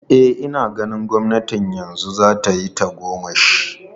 E, ina ganin gwamnatin yanzu za ta yi mana tagomashi.